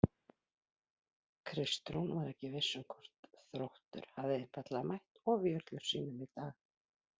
Kristrún var ekki viss hvort Þróttur hafi einfaldlega mætt ofjörlum sínum í dag.